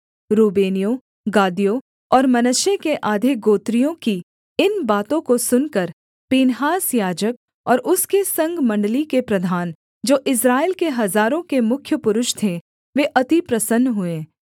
रूबेनियों गादियों और मनश्शे के आधे गोत्रियों की इन बातों को सुनकर पीनहास याजक और उसके संग मण्डली के प्रधान जो इस्राएल के हजारों के मुख्य पुरुष थे वे अति प्रसन्न हुए